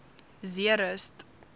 zeerust